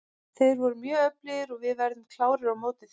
Þeir eru mjög öflugir og við verðum klárir á móti þeim.